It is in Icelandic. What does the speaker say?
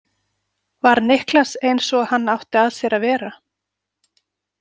Var Niklas eins og hann átti að sér að vera?